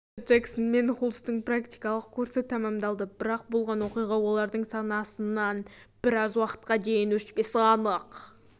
осылайша джексон мен хулстың практикалық курсы тәмамдалды бірақ болған оқиға олардың санасынан біраз уақытқа дейін өшпесі анық